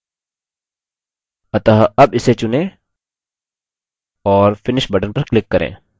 अतः अब इसे चुनें और finish button पर click करें